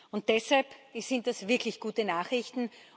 Und deshalb sind das wirklich gute Nachrichten.